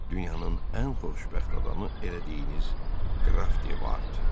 Dünyanın ən xoşbəxt adamı elədiyiniz Qraf De Vard.